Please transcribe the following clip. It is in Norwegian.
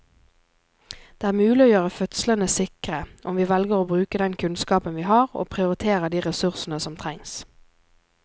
Det er mulig å gjøre fødslene sikre om vi velger å bruke den kunnskapen vi har og prioritere de ressursene som trengs.